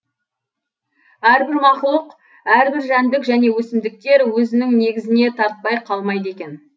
әрбір мақұлық әрбір жәндік және өсімдіктер өзінің негізіне тартпай қалмайды екен